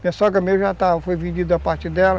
Minha sogra mesmo, já foi vendida a parte dela.